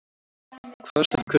Kvaðst af kurteisi.